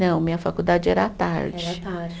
Não, minha faculdade era à tarde. Era à tarde